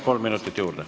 Kolm minutit juurde.